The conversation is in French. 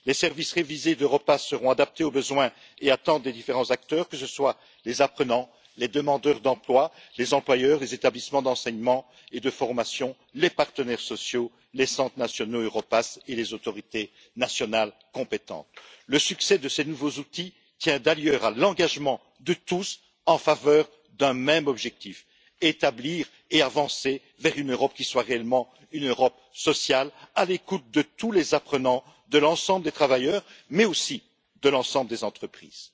Les services révisés d'Europass seront adaptés aux besoins et aux attentes des différents acteurs, que ce soient les apprenants, les demandeurs d'emploi, les employeurs, les établissements d'enseignement et de formation, les partenaires sociaux, les centres nationaux Europass ou les autorités nationales compétentes. Le succès de ces nouveaux outils tient d'ailleurs à l'engagement de tous en faveur d'un même objectif établir et avancer vers une Europe qui soit réellement une Europe sociale, à l'écoute de tous les apprenants, de l'ensemble des travailleurs mais aussi de l'ensemble des entreprises.